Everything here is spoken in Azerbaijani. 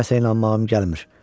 Nəsə inanmağım gəlmir.